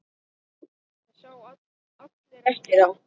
Það sjá allir eftir á.